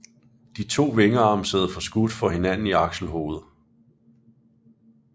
De to vingearme sidder forskudt for hinanden i akselhovedet